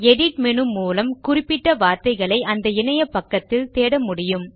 edit menu மூலம் குறிப்பிட்ட வார்தைகளை அந்த இணைய பக்கத்தில் தேட முடியும்